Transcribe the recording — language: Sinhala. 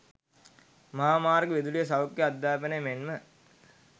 මහා මාර්ග, විදුලිය, සෞඛ්‍ය, අධ්‍යාපනය මෙන්ම